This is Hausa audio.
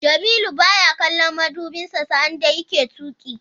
Jamilu baya kallon madubinsa sa'an da yake tuki.